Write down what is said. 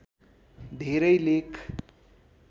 धेरै लेख